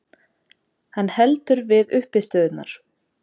Hann heldur við uppistöðurnar.